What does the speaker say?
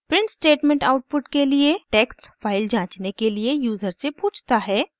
print statement output के लिए text file जांचने के लिए यूज़र से पूछता है